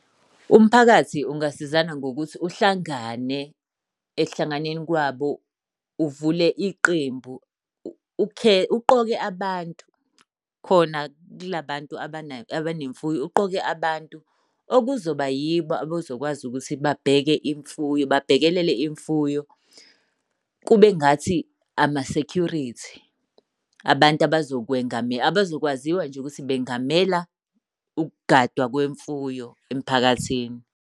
Umphakathi ungasizana ngokuthi uhlangane. Ekuhlanganeni kwabo uvule iqembu. Uqoke abantu khona kula bantu abanemfuyo, uqoke abantu okuzoba yibo abazokwazi ukuthi babheke imfuyo, babhekelele imfuyo. Kube ngathi ama-security, abantu abazokwaziwa nje ukuthi bengamela Ukugadwa kwemfuyo emphakathini.